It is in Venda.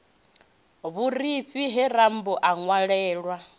vhurifhi he rambo a ṅwalelwa